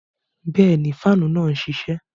Bẹẹni, faanu náà nṣiṣẹ